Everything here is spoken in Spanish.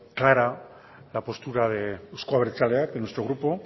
clara la postura de euzko abertzaleak de nuestro grupo